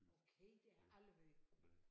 Okay det har jeg aldrig hørt